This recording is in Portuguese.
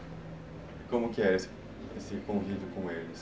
Como que é esse esse convívio com eles?